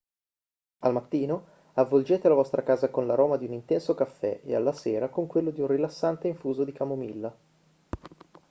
al mattino avvolgete la vostra casa con l'aroma di un intenso caffè e alla sera con quello di un rilassante infuso di camomilla